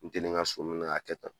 N te nin ŋa so minɛ k'a kɛ tan